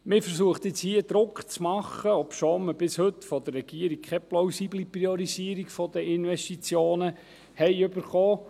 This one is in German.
Man versucht hier nun Druck zu machen, obschon wir von der Regierung bis heute keine plausible Priorisierung der Investitionen erhalten haben.